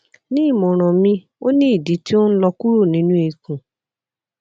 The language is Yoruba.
ni imọran mi o ni idi ti o nlọ kuro ninu ikun